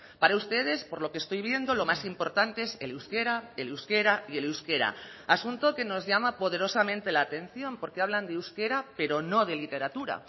para ustedes por lo que estoy viendo lo más importante es el euskera el euskera y el euskera asunto que nos llama poderosamente la atención porque hablan de euskera pero no de literatura